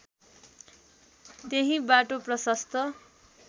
त्यही बाटो प्रशस्त